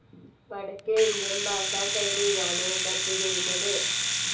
വടക്കേ ഇന്ത്യൻ ഭാഷാ ശൈലിയിലാണ് ഡബ്‌ ചെയ്യുന്നത്.